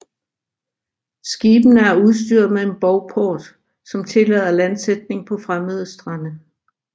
Skibene er udstyret med en bovport som tillader landsætning på fremmede strande